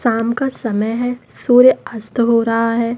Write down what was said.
शाम का समय हैं सूर्य अस्त हो रहा हैं।